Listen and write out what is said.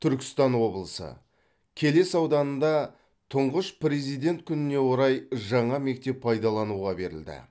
түркістан облысы келес ауданында тұңғыш президент күніне орай жаңа мектеп пайдалануға берілді